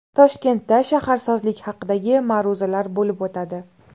Toshkentda shaharsozlik haqidagi ma’ruzalar bo‘lib o‘tadi.